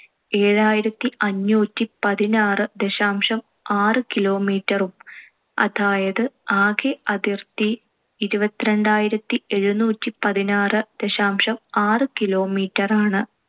ഏഴായിരത്തിഅഞ്ഞൂറ്റി പതിനാറ് ദശാംശം ആറ് kilometer ഉം അതായത് ആകെ അതിർത്തി ഇരുപത്തിരണ്ടായിരത്തി എഴുന്നൂറ്റിപതിനാറ്‍ ദശാംശം ആറ് kilometer ആണ്.